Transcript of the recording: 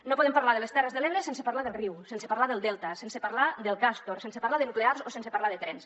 no podem parlar de les terres de l’ebre sense parlar del riu sense parlar del delta sense parlar del castor sense parlar de nuclears o sense parlar de trens